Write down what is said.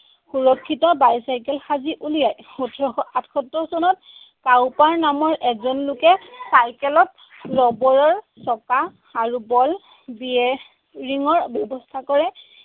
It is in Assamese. সুৰক্ষিত bicycle সাজি উলিয়ায়। ওঠৰশ আঠসত্তৰ চনত নামৰ এজন লোকে চাইকেলত ৰবৰৰ চকা আৰু ball দিয়ে। Ring ৰ ব্যৱস্থা কৰে।